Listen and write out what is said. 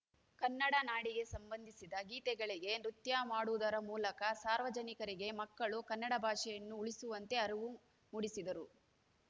ಕನ್ನಡ ನಾಡಿಗೆ ಸಂಬಂಧಿಸಿದ ಗೀತೆಗಳಿಗೆ ನೃತ್ಯ ಮಾಡುವುದರ ಮೂಲಕ ಸಾರ್ವಜನಿಕರಿಗೆ ಮಕ್ಕಳು ಕನ್ನಡ ಭಾಷೆಯನ್ನು ಉಳಿಸುವಂತೆ ಅರಿವು ಮೂಡಿಸಿದರು